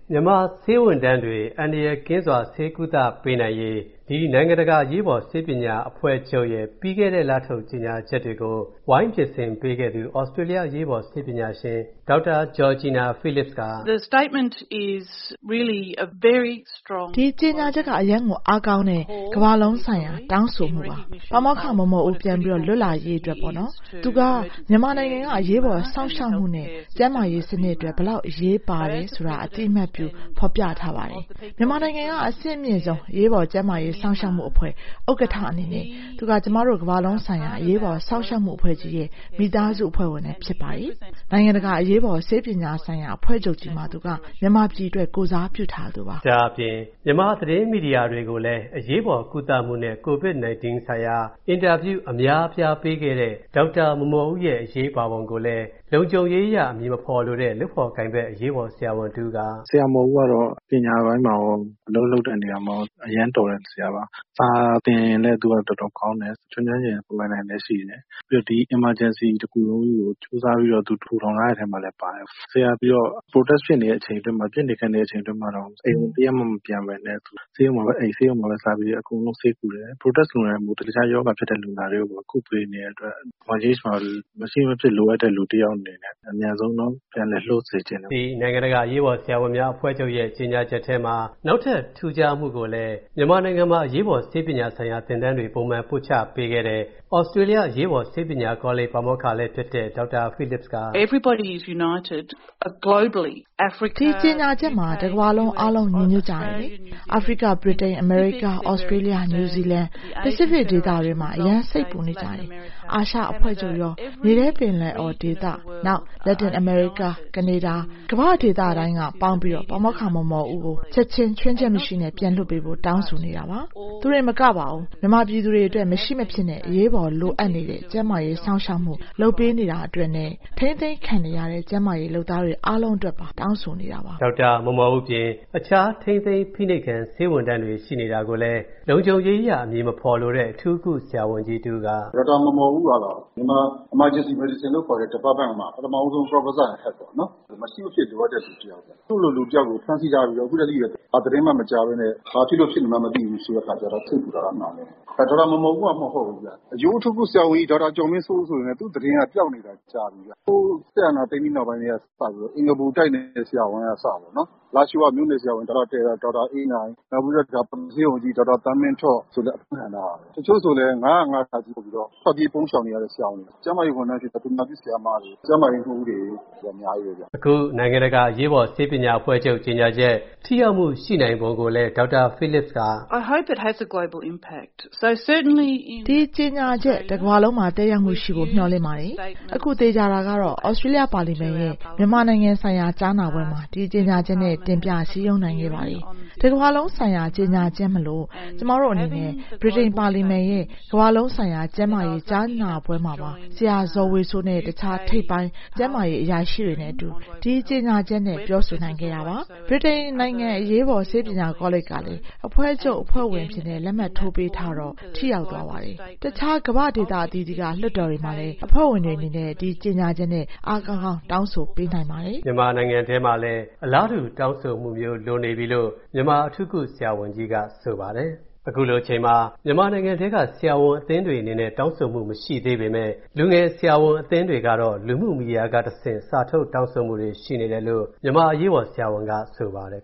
မြန်မာဆေးဝန်ထမ်းတွေ အန္တရာယ်ကင်းစွာ ဆေးကုသပေးနိုင်ရေး၊ ဒီ နိုင်ငံတကာအရေးပေါ်ဆေးပညာအဖွဲ့ချုပ်ရဲ့ ပြီးခဲ့တဲ့လထုတ် ကြေညာချက်တွေကို၊ ဝိုင်းပြင်ဆင်ပေးခဲ့သူ သြစတျေးလျ အရေးပေါ်ဆေးပညာရှင် Dr. Georgina Phillips က - “ဒီကြေညာချက်က အရမ်းကိုအားကောင်းတဲ့ ကမ္ဘာလုံးဆိုင်ရာ တောင်းဆိုမူပါ။ ပါမောက္ခ မော်မော်ဦး ပြန်လွတ်လာရေးအတွက်ပေါ့နော်။ သူဟာ မြန်မာနိုင်ငံက အရေးပေါ်စောင့်ရှောက်မူနဲ့ ကျန်းမာရေးစနစ်အတွက် ဘယ်လောက်အရေးပါတာကို အသိအမှတ်ပြုဖော်ပြထားပါတယ်။ မြန်မာနိုင်ငံက အဆင့်မြင့်ဆုံး အရေးပေါ်ကျန်းမာရေးစောင့်ရှောက်မူအဖွဲ့ ဥက္ကဌ အနေနဲ့၊ သူက ကျွန်မတို့ ကမ္ဘာလုံးဆိုင်ရာ အရေးပေါ်စောင့်ရှောက်မူအဖွဲ့ကြီးရဲ့ မိသားစုအဖွဲ့ဝင်လည်းဖြစ်ပါတယ်။ နိုင်ငံတကာ အရေးပေါ်ဆေးပညာဆိုင်ရာအဖွဲ့ချုပ်ကြီးမှာ၊ သူက မြန်မာပြည်အတွက် ကိုယ်စားပြုထားသူပါ။” လို့ဆိုပါတယ်။ ဒါ့အပြင် မြန်မာသတင်းမီဒီယာတွေကိုလည်း အရေးပေါ်ကုသမူနဲ့ ကိုဗစ်-19 ရောဂါဆိုင်ရာ အင်တာဗျူး အများအပြားပေးခဲ့တဲ့ ဒေါက်တာမော်မော်ဦးရဲ့ အရေးပါပုံကို၊ လုံခြုံရေးအရ အမည်မဖော်လိုတဲ့ လုပ်ဖော်ကိုင်ဖက် အရေးပေါ်ဆရာဝန်တစ်ဦးကလည်း “ ဆရာမော်ဦးကတော့ ပညာပိုင်းမှာရော၊ အလုပ်လုပ်တဲ့ နေရာမှာရော အရမ်းတော်တဲ့ဆရာပါ။ စာသင်လည်း သူက တော်တော်ကောင်းတယ်။ ကျွမ်းကျွမ်းကျင်ကျင် ပိုင်ပိုင်နိုင်နိုင်လည်းရှိတယ်။ ပြီးတော့ ဒီ Emergency တခုလုံးကို ကြိုးစားပြီးတော့ ထူထောင်ထားတဲ့အထဲမှာလည်း ပါတယ်။ ဆရာက Protest ဖြစ်နေတဲ့ အချိန်တွင်းမှာတောင်၊ ပစ်နေခတ်နေတဲ့အချိန်တွင်းမှာတောင် အိမ်ကို တရက်မှ မပြန်ပဲနဲ့ ဆေးရုံမှာပဲအိပ်၊ ဆေးရုံမှာပဲစားပြီးတော့ ဆေးကုတယ်။ Protest လူနာတွေအပြင် အခြားရောဂါရှိတဲ့လူနာတွေကိုလည်း ကုပေးနေတဲ့အတွက် ဒီမှာမရှိမဖြစ်လိုအပ်တဲ့လူအယောက်အနေနဲ့ ပြန်ပြီးတော့ လွှတ်ပေးစေချင်တယ်” လို့ဆိုပါတယ်။ ဒီ နိုင်ငံတကာအရေးပေါ်ဆရာဝန်များအဖွဲ့ချုပ်ကြေညာချက်ထဲမှာ နောက်ထူးခြားမူကိုလည်း၊ မြန်မာနိုင်ငံမှာ အရေးပေါ်ဆေးပညာဆိုင်ရာ သင်တန်းတွေပုံမှန်ပို့ချပေးခဲ့တဲ့၊ သြစတျေးလျအရေးပေါ်ဆေးပညာကောလိပ်ပါမောက္ခလည်းဖြစ်တဲ့ Dr. Phillips က - “ဒီကြေညာချက်မှာ တကမ္ဘာလုံး အားလုံး ညီညွှတ်ကြတယ်လေ။ အာဖရိက၊ ဗြိတိန်၊ အမေရိကား၊ သြစတျေးလျ၊ နယူးဇီလန်၊ ပစိဖိတ်ဒေသတွင်းမှာ အရမ်းစိတ်ပူနေကြတယ်၊ အာရှအဖွဲ့ချုပ်ရော၊ မြေထဲပင်လယ်အော်ဒေသ၊ နောက် လက်တင်အမေရိကား၊ ကနေဒါ၊ ကမ္ဘာ့ဒေသတိုင်းကပေါင်းပြီး ပါမောက္ခမော်မော်ဦးကို ချက်ချင်း ချွင်းချက်မရှိ ပြန်လွှတ်ပေးဖို့ တောင်းဆိုနေတာပါ။ သူတင်မကပါဘူး၊ မြန်မာပြည်သူတွေအတွက် မရှိမဖြစ်နဲ့ အရေးပေါ်လိုအပ်နေတဲ့၊ ကျန်းမာရေးစောင့်ရှာက်မူလုပ်ပေးနေတာအတွက်နဲ့ ထိန်းသိမ်းခံနေရတဲ့ ကျန်းမာရေလုပ်သားအားလုံးအတွက်ပါ တောင်းဆိုနေတာပါ။” ဒေါက်တာမော်မော်ဦးအပြင်၊ တခြားထိန်းသိမ်းဖိနှိပ်ခံ ဆေးဝန်ထမ်းတွေရှိနေတာကိုလည်း၊ လုံခြုံရေးအရ အမည်မဖော်လိုတဲ့ အထူးကုဆရာဝန်ကြီးတစ်ဦးက - “ ဒေါက်တာမော်မော်ဦးကတော့ Myanmar Emergency Medicine လို့ခေါ်တဲ့ Department မှာ ပထမဦးဆုံး Professor in Head ပေါ့နော် ။ မရှိမဖြစ်လိုအပ်တဲ့ လူတယောက်ပေါ့။ သူ့လိုလူတယောက်ကို ဖမ်းဆီးထားပြီးတော့ အခုတဲ့ထိလည်း ဘာသတင်းမှ မကြားပဲနဲ့ ဘာဖြစ်လို့ဖြစ်နေမှန်းမသိဘူးဆိုတဲ့ခါကျတော့ စိတ်ပူတာတော့ အမှန်ပဲ။ ဒေါက်တာမော်မော်ဦးမှ မဟုတ်ဘူးခင်ဗျ။ အရိုးအထူးကဆရာဝန်ကြီး ဒေါက်တာကျော်မင်းစိုး ဆိုရင်လည်း သူ့သတင်းကပျောက်နေတာ ကြာပြီခင်ဗျ။ ဟိုး စစ်အာဏာသိမ်းပြီးကတည်းကစလို့အင်္ဂပူတိုက်နယ်က ဆရာဝန်က အစပေါ့၊ လားရှိုးက တိုက်နယ်ဆရာဝန် ဒေါက်တာအေးနိုင်၊ နောက်ပြီးတော့ ဆေးရုံကြီးဆရာဝန် ဒေါက်တာ သန်းမင်းထွတ် ဆိုလည်း အဖမ်းခံထားရတယ်။ တချို့ဆိုလည်း ၅၀၅ (က) ဆိုပြီး ထွက်ပြေးပုန်းရှောင်နေရတဲ့ ဆရာဝန်တွေ၊ ကျန်းမာရေးဝန်ထမ်းတွေ၊ သူနာပြုဆရာမတွေ၊ ကျန်းမာရေးမှုးတွေလည်း အများကြီးပဲခင်ဗျ။” လို့ဆိုပါတယ်။ အခု နိုင်ငံတကာအရေးပေါ်ဆေးပညာအဖွဲ့ချုပ်ကြေညာချက်၊ ထိရောက်မူရှိနိုင်ပုံကိုလည်း Dr. Phillips က - “ဒီကြေညာချက် တကမ္ဘာလုံးမှာ သက်ရောက်မူရှိဖို့ မျှော်လင့်ပါတယ်။ အခုသေချာတာကတော့၊ သြစတျေးလျပါလီမန်ရဲ့ မြန်မာနိုင်ငံဆိုင်ရာ ကြားနာပွဲမှာ၊ ဒီကြေညာချက်နဲ့ တင်ပြစည်းရုံးနိုင်ခဲ့ပါတယ်။ တစ်ကမ္ဘာလုံးဆိုင်ရာကြေညာချက်မို့၊ ကျွန်မအနေနဲ့ ဗြိတိန်ပါလီမန်ရဲ့ ကမ္ဘာလုံးဆိုင်ရာကျန်းမာရေးကြားနာပွဲမှာပါ၊ ဆရာဇော်ဝေစိုးနဲ့ အခြားထိပ်ပိုင်းကျန်းမာရေးအရာရှိတွေနဲ့အတူ၊ ဒီကြေညာချက်နဲ့ ပြောဆိုနိုင်ခဲ့တာပါ။ ဗြိတိန်နန်းတော်အရေးပေါ်ဆေးပညာကောလိပ်ကလည်း၊ အဖွဲ့ချုပ်အဖွဲ့ဝင်အဖြစ် လက်မှတ်ထိုးပေးထားတော့ ထိရောက်သွားပါတယ်။ အခြားကမ္ဘာ့ဒေသအသီးသီးက လွှတ်တော်တွေမှာလည်း၊ အဖွဲ့ဝင်တွေအနေနဲ့၊ ဒီကြေညာချက်နဲ အားကောင်းကောင်း တောင်းဆိုပေးနိုင်ပါတယ်။” မြန်မာနိုင်ငံထဲမှာလည်း အလားတူတောင်းဆိုမူမျိုးလိုနေပြီလို့၊ မြန်မာ အထူးကုဆရာဝန်ကြီးက ဆိုပါတယ်။ ခုလိုအချိန်မှာ မြန်မာနိုင်ငံထဲက ဆရာဝန်အသင်းတွေအနေနဲ့ တောင်းဆိုမူမရှိသေးပေမဲ့၊ လူငယ်ဆရာဝန်အသင်းတွေကတော့ လူမူမီဒီယာကတဆင့် စာထုတ်တောင်းဆိုမူတွေရှိနေတယ်လို့၊ မြန်မာအရေးပေါ်ဆရာဝန်က ဆိုပါတယ်